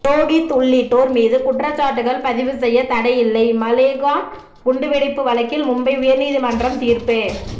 புரோகித் உள்ளிட்டோர்மீது குற்றச்சாட்டுகள் பதிவு செய்ய தடை இல்லை மாலேகான் குண்டுவெடிப்பு வழக்கில் மும்பை உயர் நீதிமன்றம் தீர்ப்பு